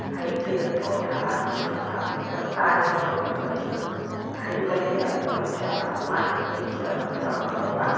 आए पेड़-पौधा आसमान साफ़-सुथरा तारे ही गालिया कच्चा बा माटी क पूरा रास्ता बनल बा।